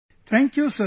Thank you Sir